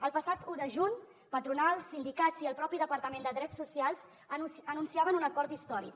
el passat un de juny patronals sindicats i el propi departament de drets socials anunciaven un acord històric